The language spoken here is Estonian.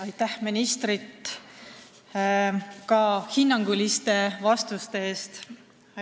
Aitäh ka minu poolt ministrile hinnanguliste vastuste eest!